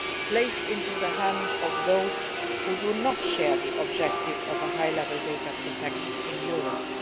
plays into the hands of those who do not share the objective of high level data protection in Europe.